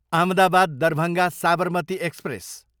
Ahmedabad, Darbhanga Sabarmati express